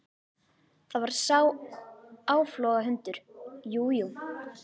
Það var sá áflogahundur, jú, jú.